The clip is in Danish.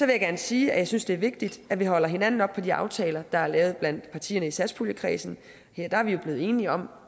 jeg gerne sige at jeg synes det er vigtigt at vi holder hinanden op på de aftaler der er lavet blandt partierne i satspuljekredsen der er vi jo blevet enige om